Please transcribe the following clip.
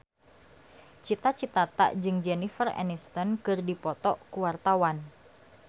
Cita Citata jeung Jennifer Aniston keur dipoto ku wartawan